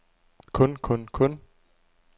kun kun kun